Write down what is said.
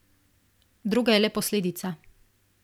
Droga je le posledica.